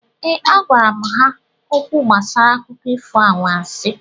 Ee, agwara m ha okwu gbasara akụkọ ifo anwansị